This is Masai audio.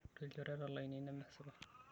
Ore ilchoreta lainei nemesipa.